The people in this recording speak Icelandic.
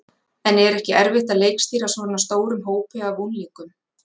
En er ekki erfitt að leikstýra svona stórum hópi af unglingum?